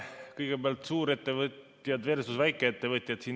Kõigepealt, suurettevõtjad versus väikeettevõtjad.